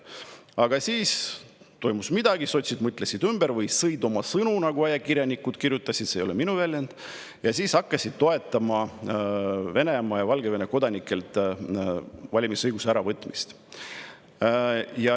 Aga siis toimus midagi, sotsid mõtlesid ümber või sõid oma sõnu, nagu ajakirjanikud kirjutasid, see ei ole minu väljend, ja hakkasid toetama Venemaa ja Valgevene kodanikelt valimisõiguse äravõtmist.